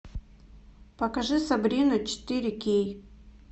покажи сабрину четыре кей